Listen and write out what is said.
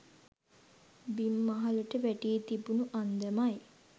බිම් මහලට වැටී තිබුණු අන්දමයි.